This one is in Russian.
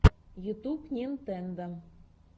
ютьюб нинтендо